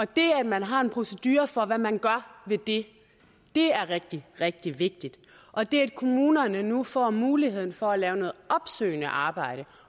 det at man har en procedure for hvad man gør ved det er rigtig rigtig vigtigt og det at kommunerne nu får mulighed for at lave noget opsøgende arbejde